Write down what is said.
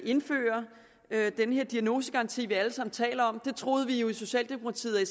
indfører den her diagnosegaranti vi alle sammen taler om det troede vi jo i socialdemokratiet og